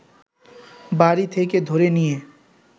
বাড়ি থেকে ধরে নিয়ে